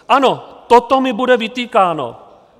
Ano, toto mi bude vytýkáno.